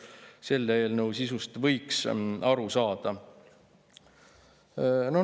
Selle eelnõu sisust oleks võinud aru saada.